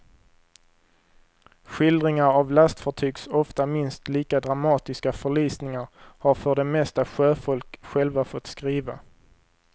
Skildringar av lastfartygs ofta minst lika dramatiska förlisningar har för det mesta sjöfolk själva fått skriva.